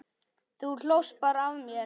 Þú hlóst bara að mér.